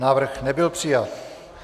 Návrh nebyl přijat.